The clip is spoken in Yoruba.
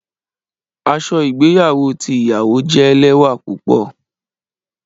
Aṣọ igbeyawo ti iyawo jẹ lẹwa pupọ.